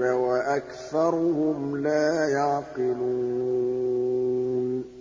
وَأَكْثَرُهُمْ لَا يَعْقِلُونَ